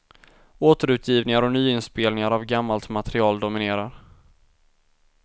Återutgivningar och nyinspelningar av gammalt material dominerar.